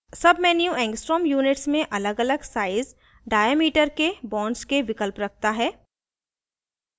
submenu angstrom units में अलगअलग size diameter के bonds के विकल्प रखता है